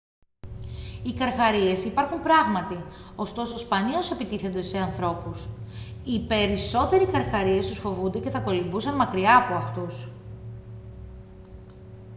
οι καρχαρίες υπάρχουν πράγματι ωστόσο σπανίως επιτίθενται σε ανθρώπους οι περισσότεροι καρχαρίες τους φοβούνται και θα κολυμπούσαν μακριά απ' αυτούς